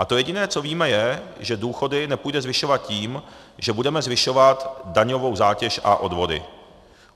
A to jediné, co víme, je, že důchody nepůjde zvyšovat tím, že budeme zvyšovat daňovou zátěž a odvody.